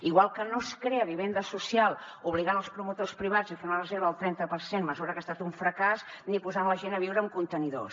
igual que no es crea vivenda social obligant els promotors privats a fer una reserva del trenta per cent mesura que ha estat un fracàs ni posant la gent a viure en contenidors